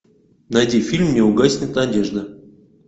найди фильм не угаснет надежда